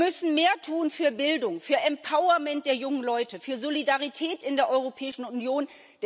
Wir müssen mehr tun für Bildung, für empowerment der jungen Leute, für Solidarität in der Europäischen Union.